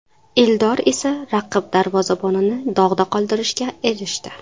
Eldor esa raqib darvozabonini dog‘da qoldirishga erishdi.